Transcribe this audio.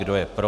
Kdo je pro?